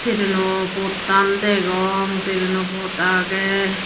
traino pottan degong traino pot aagey.